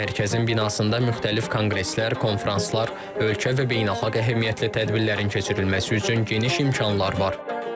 Mərkəzin binasında müxtəlif konqreslər, konfranslar, ölkə və beynəlxalq əhəmiyyətli tədbirlərin keçirilməsi üçün geniş imkanlar var.